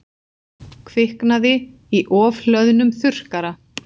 Kviknaði í ofhlöðnum þurrkara